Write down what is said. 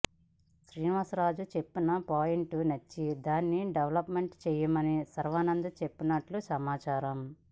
శ్రీనివాస్ రాజు చెప్పిన పాయింట్ నచ్చి దాన్ని డెవలప్ చెయ్యమని శర్వానంద్ చెప్పినట్లు సమాచారం